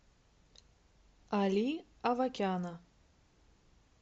али авакяна